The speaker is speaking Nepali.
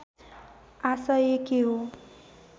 आशय के हो